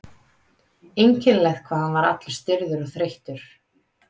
Einkennilegt hvað hann var allur stirður og þreyttur.